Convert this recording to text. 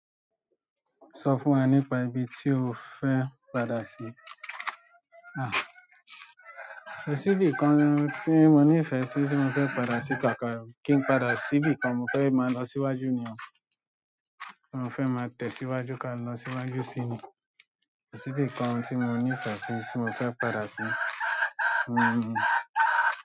Sọ fún wa nípa ibi tí o fẹ́ padà sí. Kò sí ibìkan tí mo nífẹ̀ẹ́ sí tí mofẹ́ padà sí kánkán o, kí n padà síbi kan mo fẹ́ máa lọ síwájú ni. Mo fẹ́ máa tẹ̀síwájú ká lọ síwájú sí i ni. Kò sí ibìkan tí mo nífẹ̀ẹ́ sí tí mo fẹ́ padà sí.